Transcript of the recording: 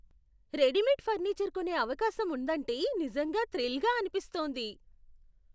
Readymade furniture కొనే అవకాశం ఉందంటే నిజంగా థ్రిల్గా అనిపిస్తోంది.